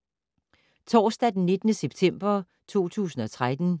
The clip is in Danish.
Torsdag d. 19. september 2013